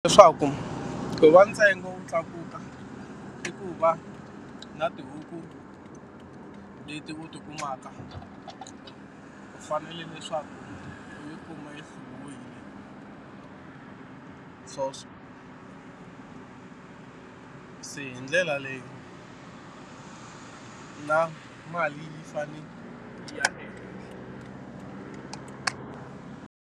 Leswaku wa ntsengo wu tlakuka i ku va na tihuku leti u ti kumaka u fanele leswaku u yi kuma yi hluviwini se hi ndlela leyi na mali yi fane yi ya ehenhla.